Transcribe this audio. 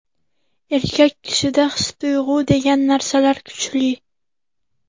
Erkak kishida his-tuyg‘u degan narsalar kuchli.